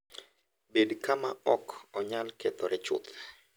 Bed kama ok onyal kethore chuth.